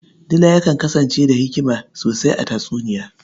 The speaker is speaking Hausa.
Dila yakan kasance da hikima sosai a tatsuniya.